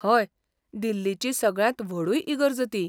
हय, दिल्लीची सगळ्यांत व्हडूय इगर्ज ती.